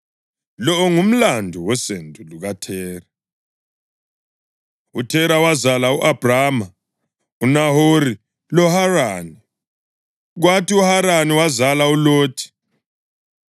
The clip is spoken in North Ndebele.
Lo ngumlando wosendo lukaThera. UThera wazala u-Abhrama, uNahori loHarani. Kwathi uHarani wazala uLothi.